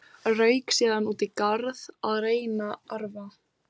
Rauk síðan út í garð að reyta arfa.